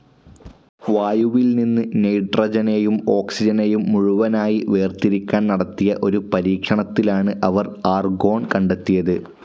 വായുവിൽ നിന്നും നൈട്രജനേയും ഓക്സിജനേയും മുഴുവനായി വേർതിരിക്കാൻ നടത്തിയ ഒരു പരീക്ഷണത്തിലാണ് അവർ ആർഗോൺ കണ്ടെത്തിയത്.